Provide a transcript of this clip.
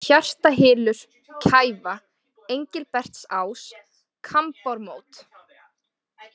Hjartahylur, Kæfa, Engilbertsás, Kambármót